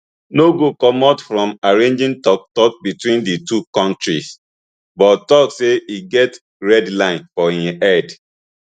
no go comot from arranging toktok between di two kontris but tok say e get red line for im head